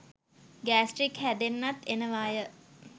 Gastric හැදෙන්නත් එනවාය.